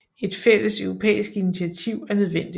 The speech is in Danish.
Et fælles europæisk initiativ er nødvendigt